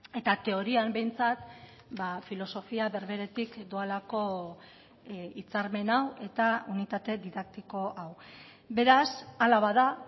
eta teorian behintzat filosofia berberetik doalako hitzarmen hau eta unitate didaktiko hau beraz ala bada